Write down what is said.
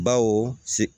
Bawo se